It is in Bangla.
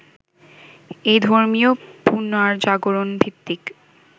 এই ধর্মীয় পুনর্জাগরণভিত্তিক